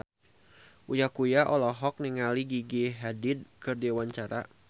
Uya Kuya olohok ningali Gigi Hadid keur diwawancara